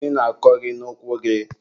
gịnị na-akọ gị n'ụkwụ gị?